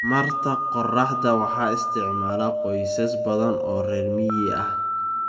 Tamarta qorraxda waxaa isticmaala qoysas badan oo reer miyi ah.